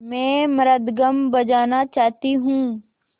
मैं मृदंगम बजाना चाहती हूँ